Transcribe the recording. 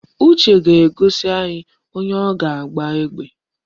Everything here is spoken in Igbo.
Uche ga-egosi anyị onye ọ ga-agba egbe